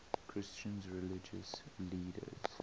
christian religious leaders